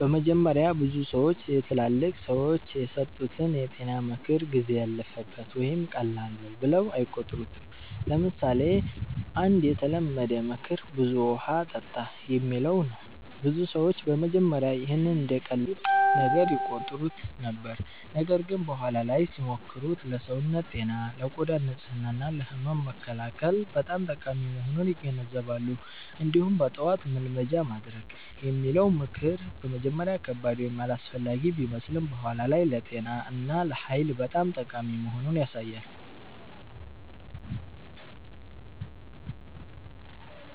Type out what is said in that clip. በመጀመሪያ ብዙ ሰዎች የትላልቅ ሰዎች የሰጡትን የጤና ምክር “ጊዜ ያለፈበት” ወይም “ቀላል ነው” ብለው አይቆጥሩትም። ለምሳሌ አንድ የተለመደ ምክር “ብዙ ውሃ ጠጣ” የሚለው ነው። ብዙ ሰዎች በመጀመሪያ ይህን እንደ ቀላል ነገር ይቆጥሩት ነበር፣ ነገር ግን በኋላ ላይ ሲሞክሩት ለሰውነት ጤና፣ ለቆዳ ንጽህና እና ለህመም መከላከል በጣም ጠቃሚ መሆኑን ይገነዘባሉ። እንዲሁም “በጠዋት መልመጃ ማድረግ” የሚለው ምክር በመጀመሪያ ከባድ ወይም አላስፈላጊ ቢመስልም በኋላ ላይ ለጤና እና ለኃይል በጣም ጠቃሚ መሆኑን ያሳያል።